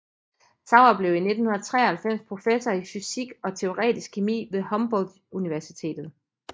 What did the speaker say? Sauer blev i 1993 professor i fysisk og teoretisk kemi ved Humboldt Universitetet